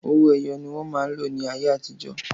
Owó ẹyọ ni wọn máa ń lò ní ayé àtijọ́